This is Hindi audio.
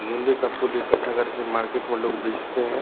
मेहँदी का फूल इकट्ठा करके मार्केट में लोग बेचते हैं ।